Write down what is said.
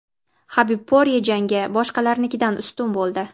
HabibPorye jangi boshqalarnikidan ustun bo‘ldi.